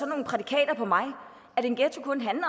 nogle prædikater på mig at en ghetto kun handler